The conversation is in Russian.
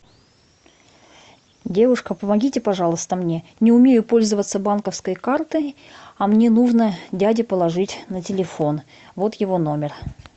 девушка помогите пожалуйста мне не умею пользоваться банковской картой а мне нужно дяде положить на телефон вот его номер